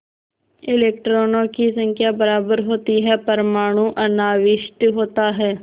इलेक्ट्रॉनों की संख्या बराबर होती है परमाणु अनाविष्ट होता है